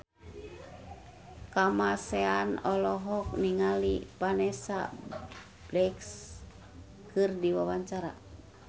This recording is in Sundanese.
Kamasean olohok ningali Vanessa Branch keur diwawancara